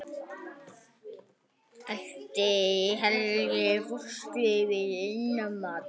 Ætli Helgi fúlsi við innmat?